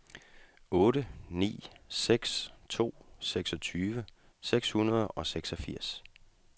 otte ni seks to seksogtyve seks hundrede og seksogfirs